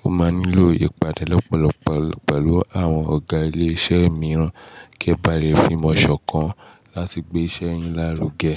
Mo máa nílò ìpàdé lọ́pọ̀lọpọ̀ pẹ̀lú àwọn ọ̀gá ilé iṣẹ́ mi rán kí e ba lè fi ìmọ̀ ṣọ̀kan láti gbé iṣẹ́ yín lárugẹ.